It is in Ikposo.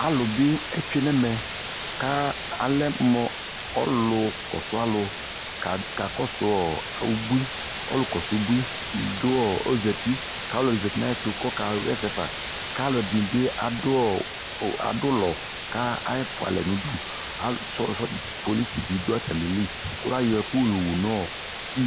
Alʋ bɩ etsue n'ɛmɛ : ka alɛ mʋ ɔlʋ kɔsʋɔlʋ , kakɔsʋ ɔ ubui , ɔlʋ kɔsʋ ubui dʋ ɔ ozati K'alʋɛdɩnɩ zati n'ayɛtʋ k'ɔka ɣɛsɛfa ; k'alʋɛdɩnɩ bɩ adʋ ɔ adʋlɔ , ka afʋalɛ n'udu Ka sɔ sɔdza polis bɩ dʋ atamili , kʋ l'ayɔ ɛkʋ yowu n'ɔɔ